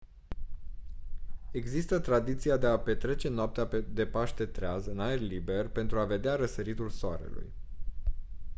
există tradiția de a petrece noaptea de paște treaz în aer liber pentru a vedea răsăritul soarelui